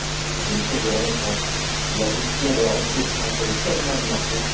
La Commission veut remettre la gestion de la ressource entre les seules mains du marché.